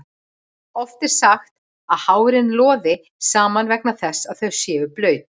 Oft er sagt að hárin loði saman vegna þess að þau séu blaut.